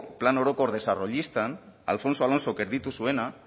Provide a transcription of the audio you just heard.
plan orokor desarrollistan alfonso alonsok erditu zuena